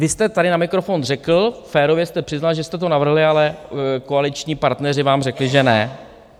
Vy jste tady na mikrofon řekl, férově jste přiznal, že jste to navrhli, ale koaliční partneři vám řekli, že ne.